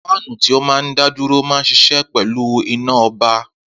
Fáánù tí ó máa ń dá dúró maà ń ṣiṣẹ́ pẹ̀lú iná ọba